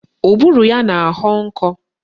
Ụbụrụ ya na-ahọ nkọ